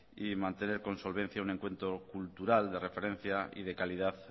y mantener con solvencia un encuentro cultural de referencia y de calidad